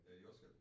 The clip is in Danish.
Øh jordskælv